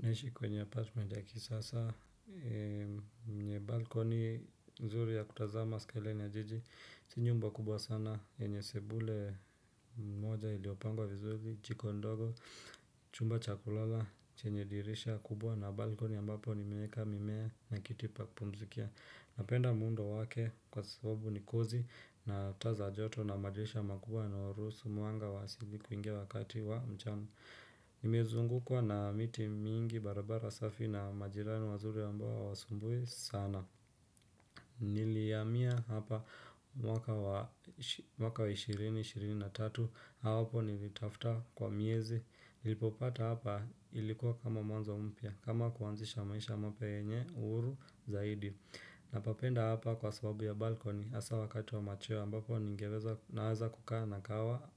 Naishi kwenye apartment ya kisasa, yenye balcony mzuri ya kutazama sky line ya jiji, si nyumba kubwa sana, yenye sebule moja iliyopangwa vizuri, jiko ndogo, chumba cha kulala chenye dirisha kubwa na balkoni ambapo nimeweka mimea na kitipa pumzi kia Napenda muundo wake kwa sababu ni kozi na taa za joto na madirisha makubwa yanayoruhusu mwanga wa asubuhi kuingia wakati wa mchano. Nimezungukwa na miti mingi barabara safi na majirani wazuri ambao hawasumbui sana Nilihamia hapa mwaka wa 2023. Hawapo nilitafuta kwa miezi. Nilipopata hapa ilikuwa kama mwanzo mpya kama kuanzisha maisha mapya yenye uhuru zaidi Napapenda hapa kwa sababu ya balkoni hasa wakati wa machoe ambapo ningeweza naweza kukaa na kahawa